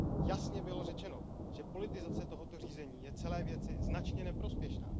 Jasně bylo řečeno, že politizace tohoto řízení je celé věci značně neprospěšná.